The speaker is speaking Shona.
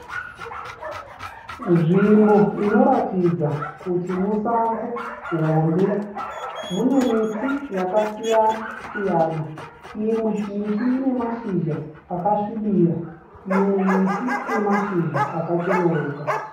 Nzvimbo inoratidza kuti musango hombe. Mune miti yakasiyana-siyana. Imwe miti ine mashizha akasvibira, imwe miti inemashizha akacheneruka.